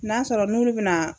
N'a sɔrɔ n'olu be na